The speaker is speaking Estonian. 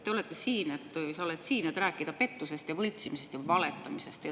Sa oled siin, et rääkida pettusest ja võltsimisest ja valetamisest.